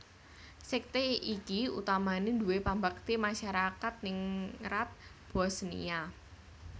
Sekte iki utamane duwé pambekti masyarakat ningrat Bosniya